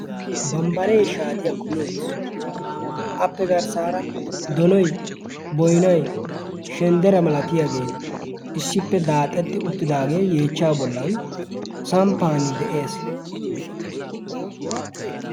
bambbaree shaatiya komi uttis. appe garssaara donoi, boinai, shenddera malatiyaagee issippe daaxetti uttidaagee yeechcha bollan samppan de7ees.